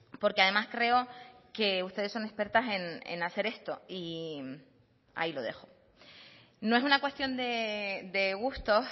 porque además creo que ustedes son expertas en hacer esto y ahí lo dejo no es una cuestión de gustos